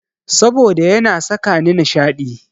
Saboda yana sakani nishaɗi.